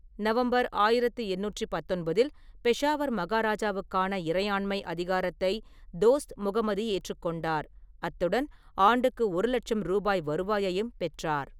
November ஆயிரத்தி எண்ணூற்றி பத்தொன்பதில், பெஷாவர் மகாராஜாவுக்கான இறையாண்மை அதிகாரத்தை தோஸ்த் முகமது ஏற்றுக்கொண்டார், அத்துடன் ஆண்டுக்கு ஒரு லட்சம் ரூபாய் வருவாயையும் பெற்றார்.